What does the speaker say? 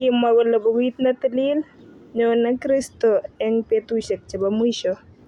Kimwa kole bukit ne tilil, nyon kristo eng betusiek chebo mwisho